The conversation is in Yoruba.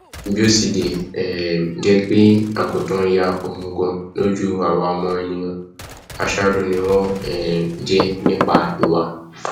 kí ọlọrun um fún ẹmí rẹ ní um ìsinmi kó sì tu àwọn ẹbí àti àwọn olólùfẹ rẹ nínú